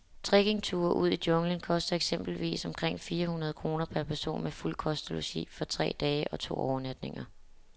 Trekkingture ud i junglen koster eksempelvis omkring fire hundrede kroner per person med fuld kost og logi for tre dage og to overnatninger.